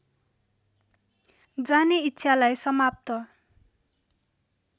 जाने इच्छालाई समाप्त